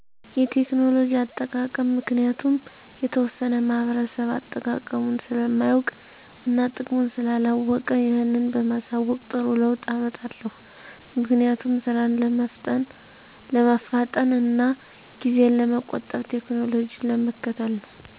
የቴክኖሎጂ አጠቃቀም ምክንያቱም የተወሠነ ማህበረሰብ አጠቃቀሙን ስለማያውቅ እና ጥቅሙን ስላላወቀ ይህን በማሣወቅ ጥሩ ለውጥ አመጣለሁ። ምክንያቱም፦ ስራን ለማፍጠን እና ጊዜን ለመቆጠብ ቴክኖሎጂን ለመከተል ነው።